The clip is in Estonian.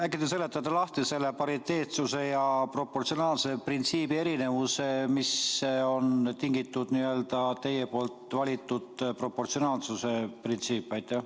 Äkki te seletate lahti selle pariteetsuse ja proportsionaalsuse printsiibi erinevuse ja ütlete, millest on tingitud teie valitud proportsionaalsuse printsiip?